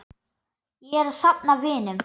Ég er að safna vinum.